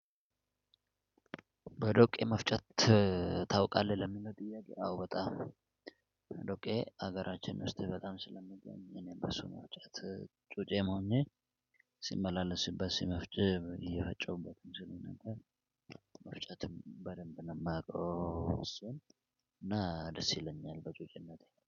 በዶቄ መፍጨት ታውቃለህ? ለሚለው ጥያቄ አዎ። በጣም ዶቄ ሀገራችን ውስጥ በጣም ስለምንገኝ እኔ በሱ መፍጨት ጩጬም ሆኜ ሲመላለስበት መፍጨብ እየፈጨሁበት እንጂ ነበር። መፍጨትም በደንብ ነው የማውቀው። እና ደስ ይለኛል ጩኸት